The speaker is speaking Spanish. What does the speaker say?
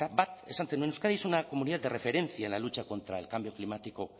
bat esan zenuen euskadi es una comunidad de referencia en la lucha contra el cambio climático